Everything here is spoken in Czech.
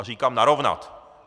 A říkám narovnat!